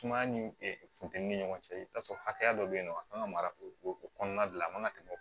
Sumaya ni funtɛni ni ɲɔgɔn cɛ i bɛ taa sɔrɔ hakɛya dɔ bɛ yen nɔ an ka mara o o kɔnɔna de la a man ka tɛmɛ